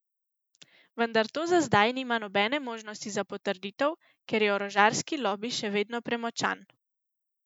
Vendar to za zdaj nima nobene možnosti za potrditev, ker je orožarski lobi še vedno premočan.